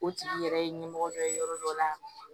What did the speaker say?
O tigi yɛrɛ ye ɲɛmɔgɔ dɔ ye yɔrɔ dɔ la